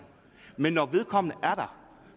men når vedkommende er der